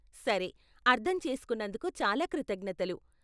సరే, అర్ధం చేసుకున్నందుకు చాలా కృతజ్ఞతలు.